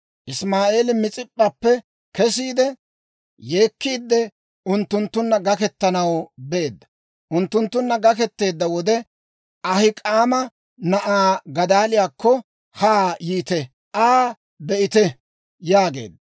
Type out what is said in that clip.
Isimaa'eeli Mis'ip'p'appe kesiide, yeekkiidde unttunttunna gakketanaw beedda; unttunttunna gaketteedda wode, «Ahik'aama na'aa Gadaaliyaakko haa yiite; Aa be'ite» yaageedda.